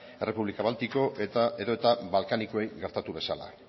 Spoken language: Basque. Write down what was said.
errepublika baltiko edota balkanikoei gertatu bezala